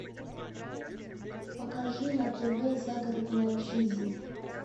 покажи на тв загородная жизнь